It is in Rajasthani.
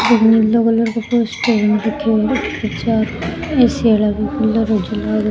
नीलो कलर को पोस्टर बन रखियो है --